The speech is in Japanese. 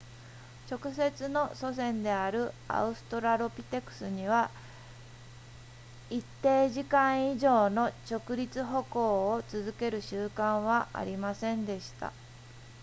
直接の祖先であるアウストラロピテクスには一定時間以上の直立歩行を続ける習慣はありませんでした